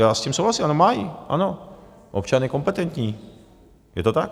Já s tím souhlasím, ano, má ji, občan je kompetentní, je to tak.